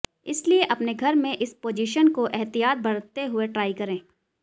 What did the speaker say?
इसलिए अपने घर में इस पोज़िशन को एहतियात बरतते हुए ट्राई करें